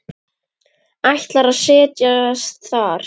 Ætlar að set jast þar.